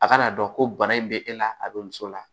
A ka n'a dɔn ko bana in be e la a be muso la